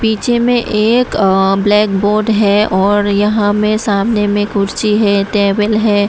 पीछे में एक अ ब्लैक बोर्ड है और यहां में सामने में कुर्सी है टेबल है।